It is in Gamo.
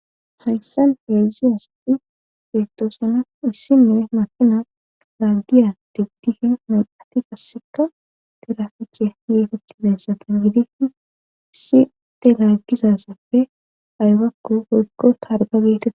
hayssan heeiziyassati beettoosana issi nime makina laggiya digdihen nan atti kasseka teraficiya geefettidayssatan gidihi issi telaggizasappe aywakku hoykko targa geetee